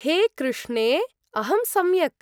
हे कृष्णे! अहं सम्यक्।